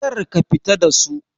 Kar ka fita da su!